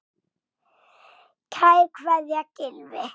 Kær kveðja, Gylfi.